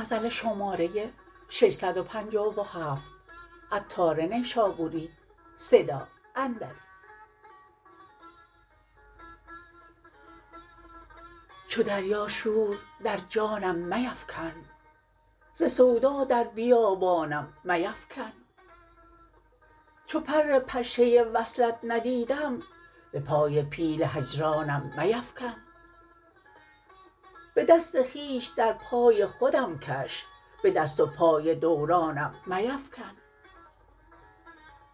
چو دریا شور در جانم میفکن ز سودا در بیابانم میفکن چو پر پشه وصلت ندیدم به پای پیل هجرانم میفکن به دست خویش در پای خودم کش به دست و پای دورانم میفکن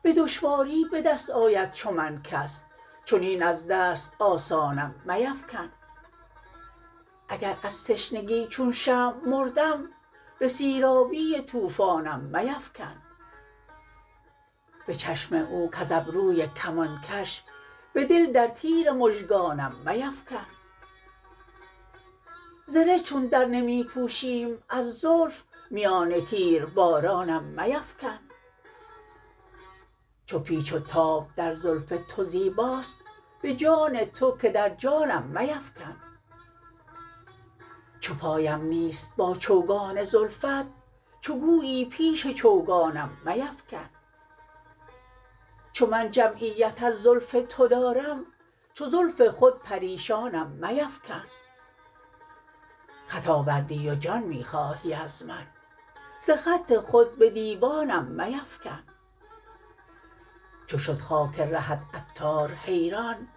به دشواری به دست آید چو من کس چنین از دست آسانم میفکن اگر از تشنگی چون شمع مردم به سیرابی طوفانم میفکن به چشم او کز ابروی کمان کش به دل در تیر مژگانم میفکن زره چون در نمی پوشیم از زلف میان تیر بارانم میفکن چو پیچ و تاب در زلف تو زیباست به جان تو که در جانم میفکن چو پایم نیست با چوگان زلفت چو گویی پیش چوگانم میفکن چو من جمعیت از زلف تو دارم چو زلف خود پریشانم میفکن خط آوردی و جان می خواهی از من ز خط خود به دیوانم میفکن چو شد خاک رهت عطار حیران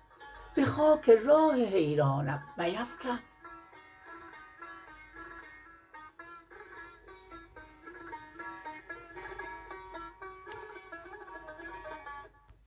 به خاک راه حیرانم میفکن